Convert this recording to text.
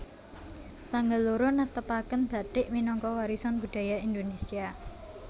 Tanggal loro netepaken bathik minangka warisan budaya Indonesia